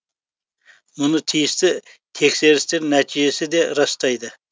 мұны тиісті тексерістер нәтижесі де растайды